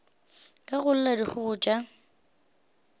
ge go lla dikgogo tša